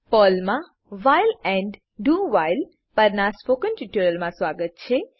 પર્લમા while and do while પરનાં spoken ટ્યુટોરીયલમાં સ્વાગત છે